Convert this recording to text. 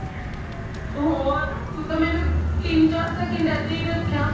ਹੋਰ ਤੂੰ ਤਾਂ ਮੈਨੂੰ ਤਿੰਨ ਚਾਰ second ਏਦਾਂ ਹੀ ਰੱਖਿਆ।